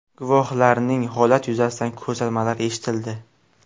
Guvohlarning holat yuzasidan ko‘rsatmalari eshitildi.